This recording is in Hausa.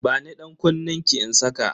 Bani dankunnenki in saka